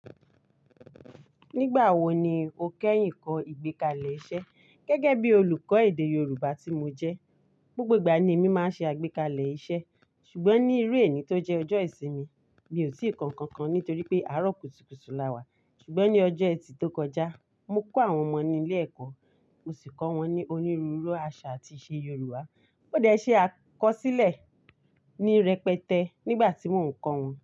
Nígbà wo ni o kẹ́yìn kọ́ ìgbékalẹ̀ iṣẹ́ gẹ́gẹ́ bí olùkọ́ èdè Yorùbá tí mo jẹ́? Gbogbo ìgbà ni èmi máa ń ṣe àgbékalẹ̀ iṣẹ́, ṣùgbọ́n ní irú èní tó jẹ́ ọjọ́ ìsinmi mi ò tí ì kọ́ nkankan nítorí pé àárọ̀ kùtùkùtù la wà. Ṣùgbọ́n ní ọjọ́ ẹtì tó kọjá, mo kó àwọn ọmọ ní ilé ẹ̀kọ́, mo sì kọ́ wọn ní onírúurú àṣà àti ìṣe Yorùbá. Mo dẹ ṣe akọsílẹ̀ ní rẹpẹtẹ nígbà tí mò ń kọ́ wọn.